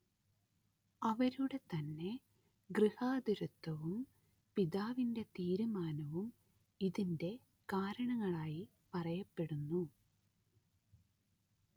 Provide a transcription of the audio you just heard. അവരുടെ തന്നെ ഗൃഹാതുരത്വവും പിതാവിന്റെ തീരുമാനവും ഇതിന്റെ കാരണങ്ങളായി പറയപ്പെടുന്നു